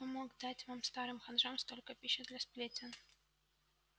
кто помог вам дать старым ханжам столько пищи для сплетен